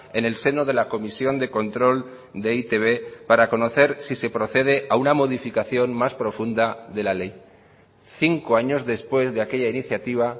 en el seno de la comisión de control de e i te be para conocer si se procede a una modificación más profunda de la ley cinco años después de aquella iniciativa